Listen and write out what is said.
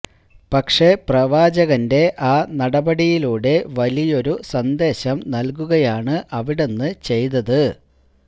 പക്ഷേ പ്രവാചകന്റെ ആ നടപടിയിലൂടെ വലിയൊരു സന്ദേശം നല്കുകയാണ് അവിടുന്ന് ചെയ്തത്